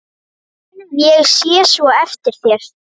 Ég sé svo eftir þér.